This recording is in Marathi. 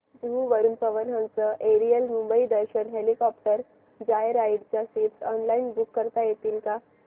जुहू वरून पवन हंस एरियल मुंबई दर्शन हेलिकॉप्टर जॉयराइड च्या सीट्स ऑनलाइन बुक करता येतील का